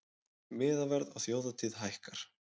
Miðaverð á þjóðhátíð hækkar